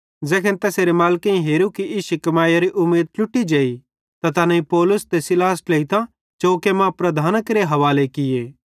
ज़ैखन तैसेरे मालिकेइं हेरू कि इश्शी कमैइयरी उमीद ट्लुटी जेई त तैनेईं पौलुस ते सीलास ट्लेइतां चौके मां प्रधानां केरे हवाले किये